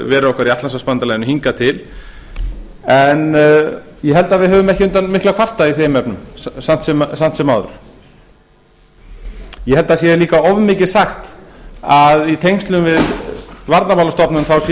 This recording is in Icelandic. veru okkar í atlantshafsbandalaginu hingað til en ég held að við höfum ekki undan miklu að kvarta í þeim efnum samt sem áður ég held að það sé líka of mikið sagt að í tengslum við varnarmálastofnun sé